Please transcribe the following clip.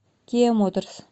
киа моторс